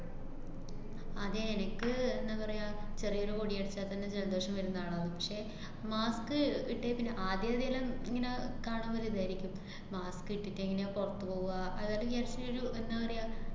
അതെ എനക്ക് എന്താ പറയാ, ചെറിയൊരു പൊടി അടിച്ചാല്‍ത്തന്നെ ജലദോഷം വരുന്ന ആളാണ്. പക്ഷെ, mask ഇട്ടേപ്പിന്നെ ആദ്യാദ്യെല്ലാം ഇങ്ങനെ കാണുമ്പൊ ഒരിദായിരിക്കും. mask ഇട്ടിട്ടെങ്ങനെയാ പുറത്ത് പോവാ. അതായത് just ഒരു എന്താ പറയാ,